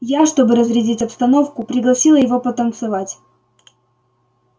я чтобы разрядить обстановку пригласила его потанцевать